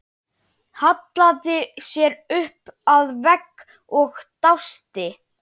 Hallaði sér upp að vegg og dæsti.